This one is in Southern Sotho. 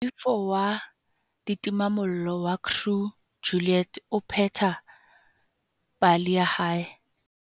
Moifo wa ditimamollo wa Crew Juliet o pheta pale ya hae